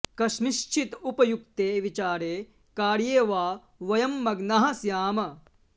कस्मिंश्चित् उपयुक्ते विचारे कार्ये वा वयं मग्नाः स्याम